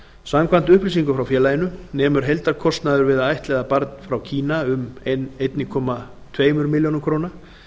samkvæmt upplýsingum frá félaginu nemur heildarkostnaður við að ættleiða barn frá kína um einn komma tveimur milljónum króna